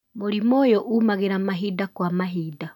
Mũrimũ ũyũ ũmagĩra mahinda kwa mahinda.